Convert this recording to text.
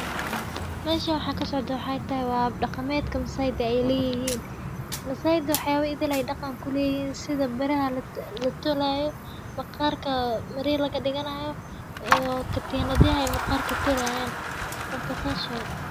Meeshan waxa ksocdo waxa waye hab daqamedka ey masayda ey leyehin, masayda waaxa uleyihin sida biraha latolayo maqarka latolayo iyo katinadaha maqarka lagadigayo marka sidas waye.